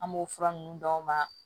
An b'o fura ninnu d'aw ma